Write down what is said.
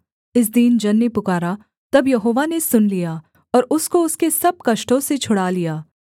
इस दीन जन ने पुकारा तब यहोवा ने सुन लिया और उसको उसके सब कष्टों से छुड़ा लिया